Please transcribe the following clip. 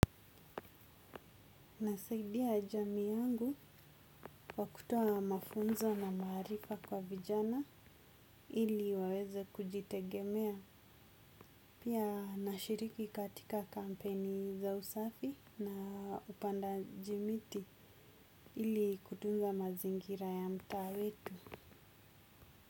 Nasaidia jamii yangu kwa kutoa mafunzo na maarifa kwa vijana ili waweze kujitegemea. Pia nashiriki katika kampeni za usafi na upandaji miti ili kutunza mazingira ya mtaa wetu.